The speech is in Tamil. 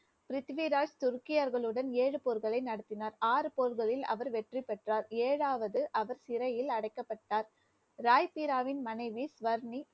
பிருத்திவிராஜ் துர்க்கியர்களுடன் ஏழு போர்களை நடத்தினார். ஆறு போர்களில் அவர் வெற்றி பெற்றார். ஏழாவது, அவர் சிறையில் அடைக்கப்பட்டார் ராய் பீராவின் மனைவி ஸ்வர்ணி